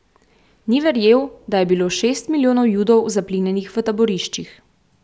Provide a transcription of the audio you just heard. Ni verjel, da je bilo šest milijonov Judov zaplinjenih v taboriščih.